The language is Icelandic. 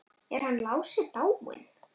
Er hann Lási dáinn?